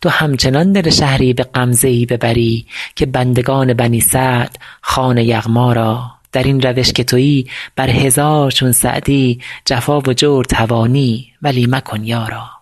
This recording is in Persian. تو همچنان دل شهری به غمزه ای ببری که بندگان بنی سعد خوان یغما را در این روش که تویی بر هزار چون سعدی جفا و جور توانی ولی مکن یارا